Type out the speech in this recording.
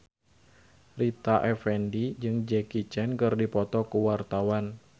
Rita Effendy jeung Jackie Chan keur dipoto ku wartawan